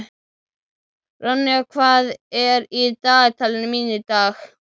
Ronja, hvað er í dagatalinu mínu í dag?